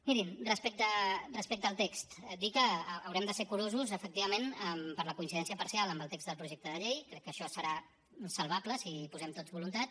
mirin respecte al text dir que haurem de ser curosos efectivament per la coincidència parcial amb el text del projecte de llei crec que això serà salvable si hi posem tots voluntat